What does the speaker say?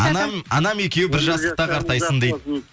анам екеуі бір жастықта қартайсын дейді